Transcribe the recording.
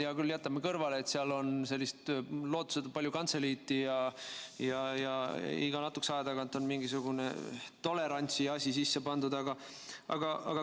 Hea küll, jätame kõrvale, et seal on lootusetult palju kantseliiti ja iga natukese aja tagant on mingisugune tolerantsiasi sisse pandud.